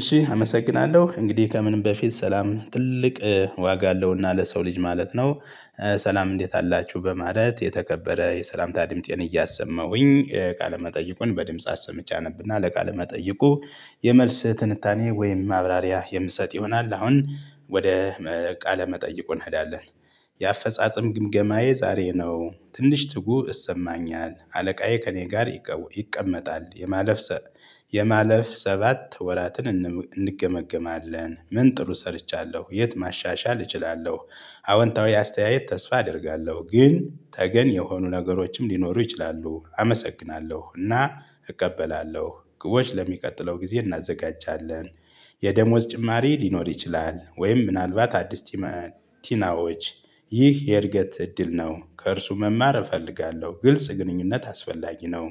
እሺ አመሰግናለሁ እንግዲህ ከምንም በፊት ሰላም ትልቅ ዋጋ አለውና ለሰው ልጅ ማለት ነው። ሰላም እንዴት አላችሁ በማለት የተከበረ የሰላምታ ድምፄን እያሰመሁኝ ቃለ መጠይቁን በድምጽ አሰምቼ አነብና ለቃለ መጠይቁ የመልስ ትንታኔ ወይም ማብራሪያ የምሰጥ ይሆናል አሁን ወደ ቃለ መጠይቁ እንሄዳለን። የአፈጻጸም ግምገማዬ ዛሬ ነው ትንሽ ትጉ እሰማኛል አለቃዬ ከእኔ ጋር ይቀመጣል የማለፍ የማለፍ ሰባት ወራትን እንም እንገመግማለን ምን ጥሩ ሰርቻለሁ የት ማሻሻል እችላለሁ? አዎንታዊ አስተያየት ተስፋ አደርጋለሁ ግን ተገን የሆኑ ነገሮችም ሊኖሩ ይችላሉ። አመሰግናለሁ እና እቀበላለሁ ግቦች ለሚቀጥለው ጊዜ እናዘጋጃለን። የደሞዝ ጭማሪ ሊኖር ይችላል። ወይም ምናልባት አዲስ ቲናዎች ይህ የእድገት እድል ነው። ከእርሱ መማር እፈልጋለሁ ግልጽ ግንኙነት አስፈላጊ ነው።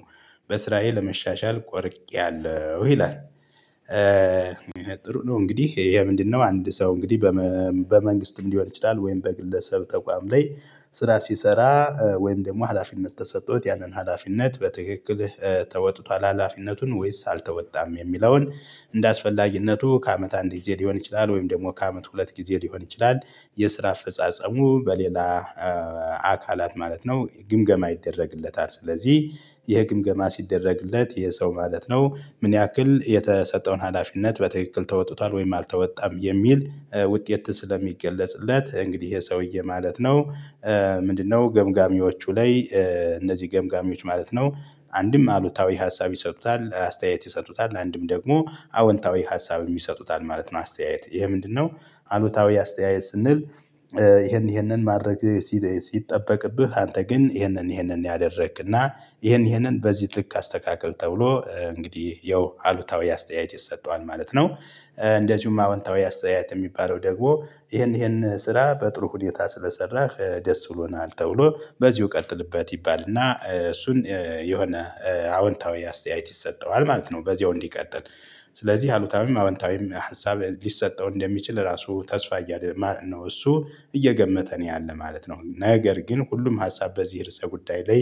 በስራዬ ለመሻሻል ቆርጌያለሁ። ይላል ጥሩ ነው እንግዲህ ይሄ ምንድነው? አንድ ሰው እንግዲህ በመ በመንግስትም ሊሆን ይችላል ወይም በግለሰብ ተቋም ላይ ስራ ሲሰራ ወይም ደግሞ ሀላፊነት ተሰጥቶት ያንን ሀላፊነት በትክክል ተወጥቷል። ሀላፊነቱን ወይስ አልተወጣም የሚለውን እንደ አስፈላጊነቱ ከአመት አንድ ጊዜ ሊሆን ይችላል ወይም ደግሞ ከአመት ሁለት ጊዜ ሊሆን ይችላል። የስራ አፈጻጸሙ በሌላ አካላት ማለት ነው ግምገማ ይደረግለታል። ስለዚህ ይህ ግምገማ ሲደረግለት የሰው ማለት ነው ምን ያክል የተሰጠውን ሀላፊነት በትክክል ተወጥቷል ወይም አልተወጣም የሚል ውጤት ስለሚገለጽለት እንግዲህ ይሄ ሰውዬ ማለት ነው። ምንድነው? ገምጋሚዎቹ ላይ እነዚህ ገምጋሚዎች ማለት ነው አንድም አሉታዊ ሀሳብ ይሰጡታል አስተያየት ይሰጡታል አንድም ደግሞ አወንታዊ ሀሳብ የሚሰጡታል ማለት ነው። አስተያየት ይሄ ምንድነው? አሉታዊ አስተያየት ስንል ይሄንን ይሄንን ማድረግ ሲጠበቅብህ አንተ ግን ይሄንን ይሄንን ያደረግክና ይሄን ይሄንን በዚህ ትልቅ አስተካክል ተብሎ እንግዲህ ያው አሉታዊ አስተያየት ይሰጠዋል ማለት ነው። እንደዚሁም አዎንታዊ አስተያየት የሚባለው ደግሞ ይሄን ይሄን ስራ በጥሩ ሁኔታ ስለሰራህ ደስ ብሎናል ተብሎ በዚሁ ቀጥልበት ይባል እና እሱን የሆነ አዎንታዊ አስተያየት ይሰጠዋል ማለት ነው። በዚህው እንዲቀጥል ስለዚህ አሉታዊም አወንታዊም ሀሳብ ሊሰጠው እንደሚችል ራሱ ተስፋ እያለ ነው እሱ እየገመተ ነው ያለው ማለት ነው። ነገር ግን ሁሉም ሀሳብ በዚህ ርዕሰ ጉዳይ ላይ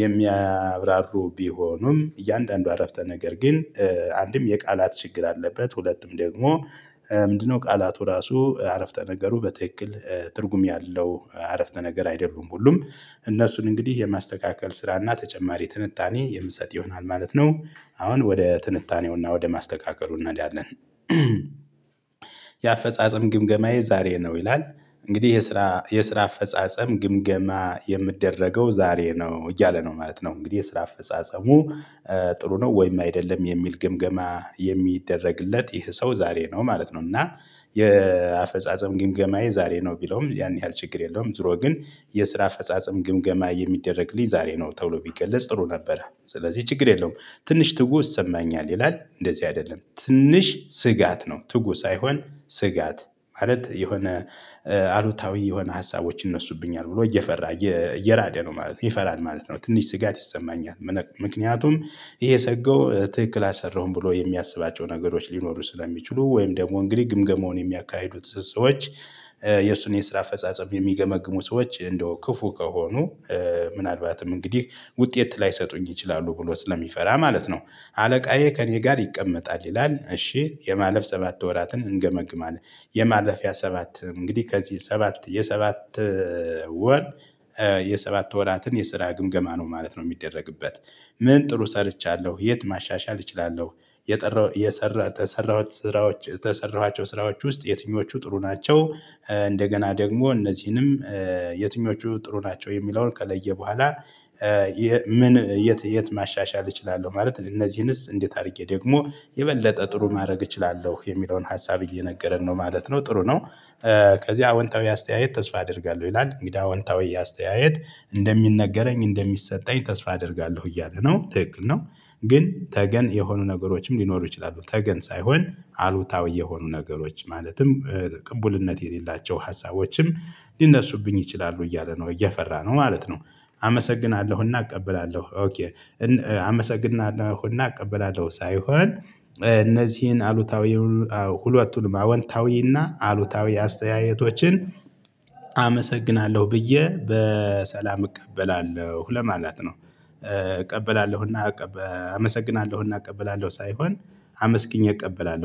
የሚያብራሩ ቢሆኑም እያንዳንዱ አረፍተ ነገር ግን አንድም የቃላት ችግር አለበት። ሁለቱም ደግሞ ምንድነው? ቃላቱ ራሱ አረፍተ ነገሩ በትክክል ትርጉም ያለው አረፍተ ነገር አይደሉም። ሁሉም እነሱን እንግዲህ የማስተካከል ስራና ተጨማሪ ትንታኔ የምሰጥ ይሆናል ማለት ነው። አሁን ወደ ትንታኔውና ወደ ማስተካከሉ እንኸዳለን። የአፈጻጸም ግምገማዬ ዛሬ ነው ይላል። እንግዲህ የስራ የስራ አፈጻጸም ግምገማ የምደረገው ዛሬ ነው እያለ ነው ማለት ነው። እንግዲህ የስራ አፈጻጸሙ ጥሩ ነው ወይም አይደለም የሚል ግምገማ የሚደረግለት ይህ ሰው ዛሬ ነው ማለት ነው። እና የአፈጻጸም ግምገማዬ ዛሬ ነው ቢለውም ያን ያህል ችግር የለውም ዙሮ ግን የስራ ፈጻጸም ግምገማ የሚደረግልኝ ዛሬ ነው ተውሎ ቢገለጽ ጥሩ ነበረ ስለዚህ ችግር የለውም። ትንሽ ትጉ እሰማኛል ይላል እንደዚህ አይደለም ትንሽ ስጋት ነው ትጉ ሳይሆን ስጋት ማለት የሆነ አሉታዊ የሆነ ሀሳቦች ይነሱብኛል ብሎ እየፈራ እየራደ ነው ማለት ይፈራል ማለት ነው ትንሽ ስጋት ይሰማኛል። ምክንያቱም የሰገው ትክክል አልሰራሁም ብሎ የሚያስባቸው ነገሮች ሊኖሩ ስለሚችሉ ወይም ደግሞ እንግዲህ ግምገመውን የሚያካሂዱት ሰዎች የእሱን የስራ አፈጻጸም የሚገመግሙ ሰዎች እንደው ክፉ ከሆኑ ምናልባትም እንግዲህ ውጤት ላይሰጡኝ ይችላሉ ብሎ ስለሚፈራ ማለት ነው። አለቃዬ ከእኔ ጋር ይቀመጣል ይላል እሺ የማለፍ ሰባት ወራትን እንገመግማለን። የማለፊያ ሰባት እንግዲህ ከዚህ ሰባት የሰባት ወር የሰባት ወራትን የስራ ግምገማ ነው ማለት ነው። የሚደረግበት ምን ጥሩ ሰርቻለሁ የት ማሻሻል እችላለሁ? የሰራሁት ስራዎች ተሰራኋቸው ስራዎች ውስጥ የትኞቹ ጥሩ ናቸው? እንደገና ደግሞ እነዚህንም የትኞቹ ጥሩ ናቸው? የሚለውን ከለየ በኋላ። ምን የት የት ማሻሻል እችላለሁ? ማለት እነዚህንስ እንዴት አድርጌ ደግሞ የበለጠ ጥሩ ማድረግ እችላለሁ የሚለውን ሀሳብ እየነገረን ነው ማለት ነው። ጥሩ ነው። ከዚህ አወንታዊ አስተያየት ተስፋ አደርጋለሁ ይላል። እንግዳ አወንታዊ አስተያየት እንደሚነገረኝ እንደሚሰጠኝ ተስፋ አደርጋለሁ እያለ ነው ትክክል ነው። ግን ተገን የሆኑ ነገሮችም ሊኖሩ ይችላሉ። ተገን ሳይሆን አሉታዊ የሆኑ ነገሮች ማለትም ቅቡልነት የሌላቸው ሀሳቦችም ሊነሱብኝ ይችላሉ እያለ ነው እየፈራ ነው ማለት ነው። አመሰግናለሁና እቀበላለሁ አመሰግናለሁና እቀበላለሁ ሳይሆን እነዚህን አሉታዊ ሁለቱንም አወንታዊና አሉታዊ አስተያየቶችን አመሰግናለሁ ብዬ በሰላም እቀበላለሁ ለማለት ነው። እቀበላለሁና አመሰግናለሁና እቀበላለሁ ሳይሆን አመስግኜ እቀበላለሁ